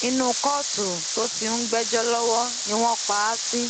inú kóòtù tó ti ń gbẹjọ lọwọ ni wọn pa á sí